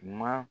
Ma